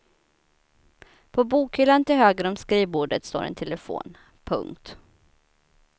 På bokhyllan till höger om skrivbordet står en telefon. punkt